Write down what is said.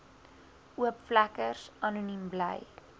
oopvlekkers anoniem bly